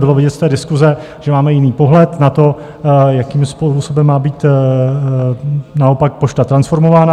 Bylo vidět z té diskuse, že máme jiný pohled na to, jakým způsobem má být naopak Pošta transformována.